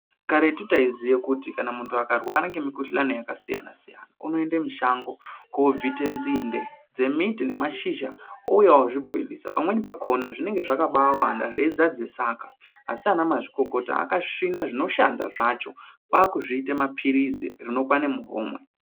Karetu taiziye kuti kana munhu akarwara ngemikhuhlani yakasiyana-siyana, unoende mushango, kobvite nzinde ,dzemiti nemashizha, ouya ozvibhoilisa. Pamweni pakhona, zvinenge zvakabaawanda zveidzadze saka. Asi ana mazvikokota akasvina zvinoshanda zvacho, kwaakuzviite maphilizi ,rinokwane muhomwe.